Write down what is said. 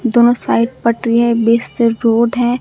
दोनों साइड पटरियां ये बीच से रोड है।